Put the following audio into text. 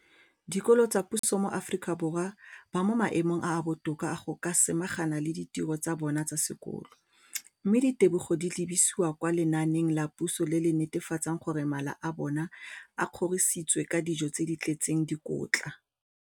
dikolo tsa puso mo Aforika Borwa ba mo maemong a a botoka a go ka samagana le ditiro tsa bona tsa sekolo, mme ditebogo di lebisiwa kwa lenaaneng la puso le le netefatsang gore mala a bona a kgorisitswe ka dijo tse di tletseng dikotla.